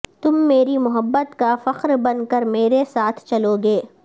تم میری محبت کافخر بن کر میرے ساتھ چلو گے